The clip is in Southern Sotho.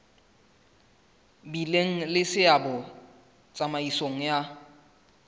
bileng le seabo tsamaisong ya